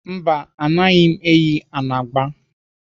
Mba, anaghị m eyi anagba.